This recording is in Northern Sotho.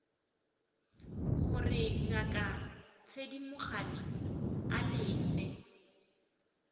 gore ngaka thedimogane a lefe